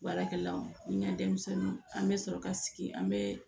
Baarakɛlaw ni n ka denmisɛnninw an bɛ sɔrɔ ka sigi an bɛ